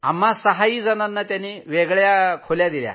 आम्हा सहाही जणांना वेगवेगळ्या खोल्या दिल्या